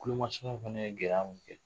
Tulomasamaw fana ye gɛlɛya min kɛ